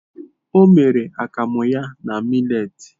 O mere akamu ya na mittet.